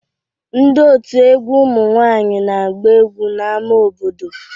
Ndị òtù egwu ụmụ nwaanyị na-agba egwu n'ama obodo.